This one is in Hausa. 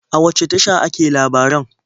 A wace tasha ake labaran?